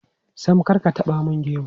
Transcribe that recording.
Sam, kar ka taɓa mun gemu.